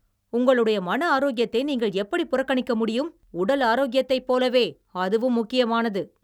உங்களுடைய மன ஆரோக்கியத்தை நீங்கள் எப்படி புறக்கணிக்க முடியும், உடல் ஆரோக்கியத்தைப் போலவே அதுவும் முக்கியமானது!